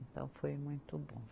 Então, foi muito bom.